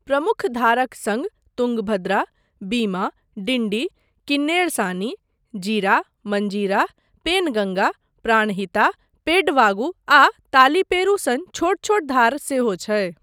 प्रमुख धारक सङ्ग तुङ्गभद्रा, बीमा, डिन्डी, किन्नेरसानी, जीरा, मँजीरा, पेनगङ्गा, प्राणहिता, पेड्डवागु आ तालिपेरू सन छोट छोट धार सेहो छै।